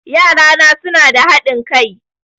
Yarana suna da haɗin kai